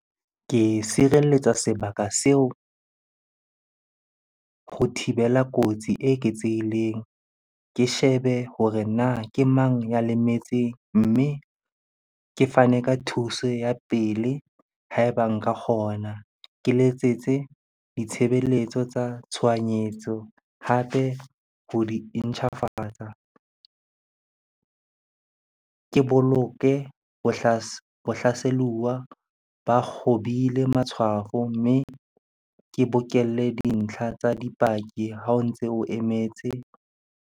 Ke sireletsa sebaka seo ho thibela kotsi e eketsehileng. Ke shebe hore na ke mang ya lemetseng? Mme ke fane ka thuso ya pele ha eba nka kgona. Ke letsetse ditshebeletso tsa tshohanyetso hape ho di intjhafatsa. Ke boloke hlaseluwa ba kgobile matshwafo, mme ke bokelle dintlha tsa dipaki ha o ntse o emetse.